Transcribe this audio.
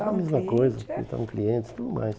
Era a mesma coisa, visitavam clientes e tudo mais.